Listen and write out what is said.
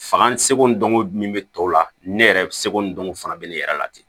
Fakan seko ni dɔnko min bɛ tɔw la ne yɛrɛ seko n dɔnko fana bɛ ne yɛrɛ la ten